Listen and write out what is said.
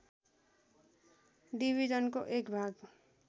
डिभीजनको एक भाग